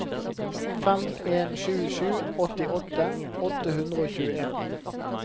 fem en sju sju åttiåtte åtte hundre og tjueen